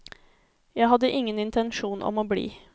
Jeg hadde ingen intensjon om å bli.